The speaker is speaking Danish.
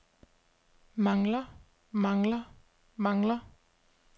mangler mangler mangler